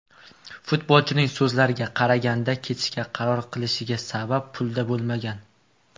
Futbolchining so‘zlariga qaraganda, ketishga qaror qilishiga sabab pulda bo‘lmagan.